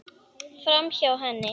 Framhjá henni.